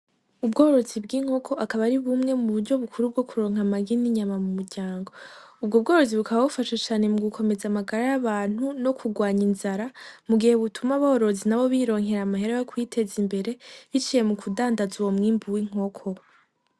ubworozi bw'inkoko akaba ari bumwe mu buryo bukuru bwo kuronka amagi ninyama mumuryango ubwo bworozi bukaba bufasha cane mu gukomeza amagara yabantu nokurwanya inzara mu gihe butuma aborozi bironkera amahera yo kwiteza imbere biciye mukudandaza uwo mwimbu winkoko.